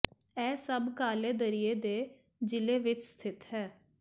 ਇਹ ਸਭ ਕਾਲੇ ਦਰਿਆ ਦੇ ਜ਼ਿਲ੍ਹੇ ਵਿੱਚ ਸਥਿਤ ਹੈ